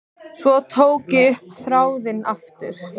Svo tók ég upp þráðinn aftur.